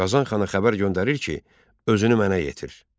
Qazanxana xəbər göndərir ki, özünü mənə yetir.